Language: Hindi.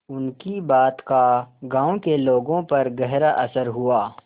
उनकी बात का गांव के लोगों पर गहरा असर हुआ